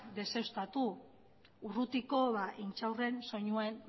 deuseztatu urrutiko intxaurren soinua